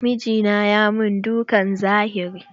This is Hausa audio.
Mijina ya min dukan zahiri.